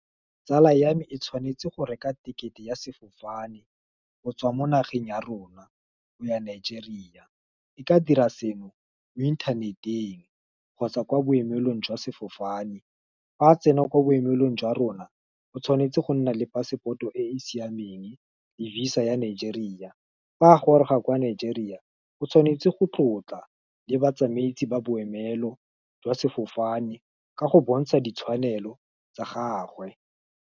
Tsala ya me, e tshwanetse go reka tekete ya sefofane, go tswa mo nageng ya rona, go ya Nigeria, e ka dira seno, mo inthaneteng, kgotsa kwa boemelong jwa sefofane, fa tsena kwa boemelong jwa rona, o tshwanetse go nna le passport-o e e siameng, le visa ya Nigeria, fa a goroga kwa Nigeria, o tshwanetse go tlotla, le batsamaisi ba boemelo, jwa sefofane, ka go bontsha ditshwanelo tsa gagwe.